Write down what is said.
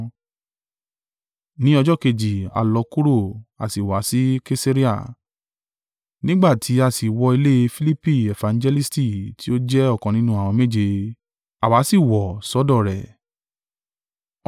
Ní ọjọ́ kejì a lọ kúrò, a sì wá sí Kesarea; nígbà tí á sì wọ ilé Filipi efangelisti tí ó jẹ́ ọ̀kan nínú àwọn méje; àwa sì wọ̀ sọ́dọ̀ rẹ̀.